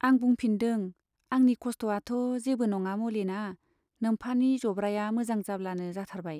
आं बुंफिन दों, आंनि खस्थ'आथ' जेबो नङा मलिना, नोम्फानि जब्राया मोजां जाब्लानो जाथारबाय।